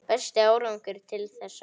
Besti árangur til þessa?